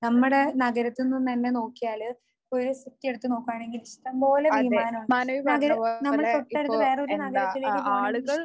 നമ്മടെ നഗരത്തിൽനിന്ന് തന്നെ നോക്കിയാല് ഫുൾ സിറ്റി എടുത്തു നോക്കുവാണെങ്കിൽ ഇഷ്ടംപോലെ വിമാനം ഉണ്ട്. നഗര നമ്മൾ തൊട്ടടുത്ത വേറൊരു നഗരത്തിലേക്ക് പോണെങ്കിൽ